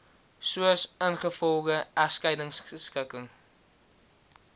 soos ingevolge egskeidingskikking